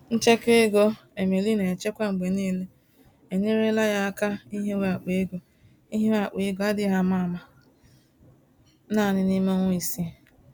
Nchekwa ego Emily na-echekwa mgbe niile, enyerela ya áká ihiwe akpa ego ihiwe akpa ego adịghị àmà-àmà, naanị n'ime ọnwa isii.